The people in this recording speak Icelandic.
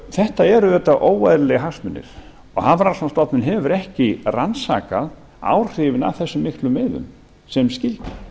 þetta eru auðvitað óeðlilegir hagsmunir og hafrannsóknastofnun hefur ekki rannsakað áhrifin af þessum miklu veiðum sem skyldi